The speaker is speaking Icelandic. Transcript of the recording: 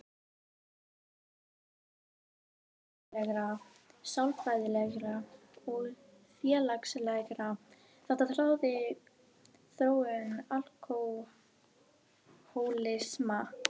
Í dag er álitið að samspil líffræðilegra, sálfræðilegra og félagslegra þátta ráði þróun alkóhólisma.